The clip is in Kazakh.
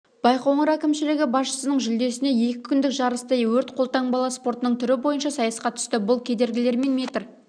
байқоңыр әкімшілігі басшысының жүлдесіне екі күндік жарыста өрт-қолтанбалы спортының түрі бойынша сайысқа түсті бұл кедергілерімен метр